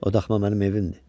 O daxma mənim evimdir.